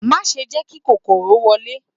Má ṣe jẹ́ kí kòkòrò wọlé